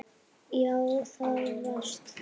Jú, það varst þú.